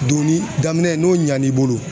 Doni daminɛ n'o ɲa n'i bolo